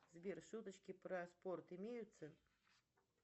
сбер шуточки про спорт имеются